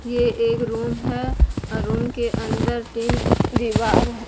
ये एक रूम है रूम के अंदर तीन दीवार है।